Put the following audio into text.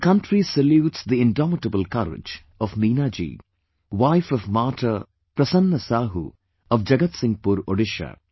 The country salutes the indomitable courage of Meenaji, wife of Martyr PrasannaSahu of Jagatsinghpur, Odisha